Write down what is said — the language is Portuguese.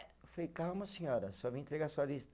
Eu falei, calma senhora, só vim entregar sua lista.